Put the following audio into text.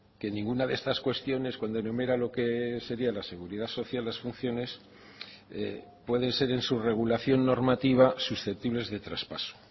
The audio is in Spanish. que ninguna de estas cuestiones cuando enumera lo que sería la seguridad social las funciones pueden ser en su regulación normativa susceptibles de traspaso